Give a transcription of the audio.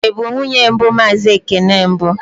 Ị bụ nwunye mbụ Mazị Ekene mbụ?